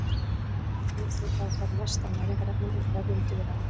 Með því fá þær mest af næringarefnum úr vefjum dýra.